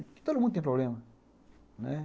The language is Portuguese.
Porque todo mundo tem problema, né?